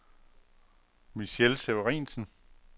Michelle Severinsen